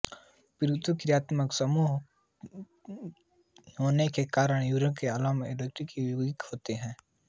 purine क्रियात्मक समूह होने के कारण यूरिक अम्ल एरोमेटिक योगिक होते हैं